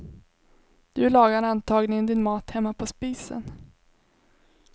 Du lagar antagligen din mat hemma på spisen.